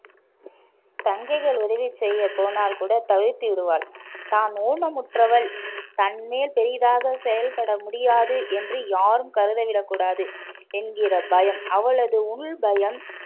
தங்கைகள் உதவி செய்ய போனால் கூட தவிர்த்து விடுவாள், தான் ஊனமுற்றவள் பெரிதாக செயல்பட முடியாது என்று யாரும் கருத விடக்கூடாது என்கிற பயம் அவளது உள் பயம்